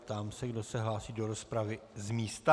Ptám se, kdo se hlásí do rozpravy z místa.